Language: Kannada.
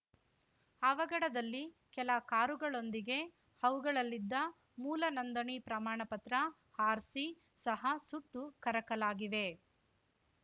ಅವಘಡದಲ್ಲಿ ಕೆಲ ಕಾರುಗಳೊಂದಿಗೆ ಅವುಗಳಲ್ಲಿದ್ದ ಮೂಲ ನೋಂದಣಿ ಪ್ರಮಾಣ ಪತ್ರ ಆರ್‌ಸಿ ಸಹ ಸುಟ್ಟು ಕರಕಲಾಗಿವೆ